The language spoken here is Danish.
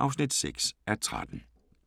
(6:13)